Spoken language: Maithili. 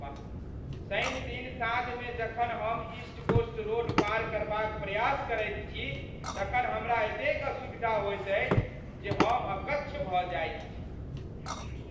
शनिदिन साँझमे जखन हम ईस्ट कोस्ट रोड पार करबाक प्रयास करैत छी तखन हमरा एतेक असुविधा होइत अछि जे हम अकच्छ भऽ जाइत छी।